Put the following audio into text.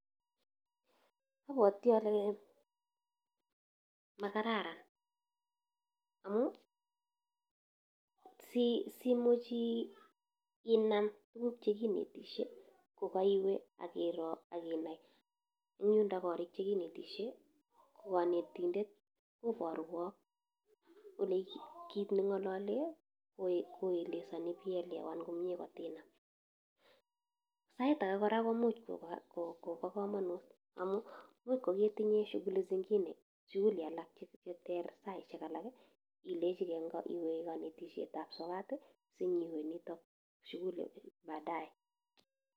Abwoti ale makararan, amu si simuch inam tuguk chekinetishe ko kaiwe akiroo akinai eng yundo korik chekineshei, ko kanetindet kobarwok ole kit ne ng'ololee, ko elesani ibielewan komnye kotinam. Sait age kora komuch koba ko kobo kamanut amu imuch ko ketinye shughuli zingine, shughul alak cheter saishek, ilechigei nga iwe kanetisietab sokat, sinyiwe nitok shughuli baadae.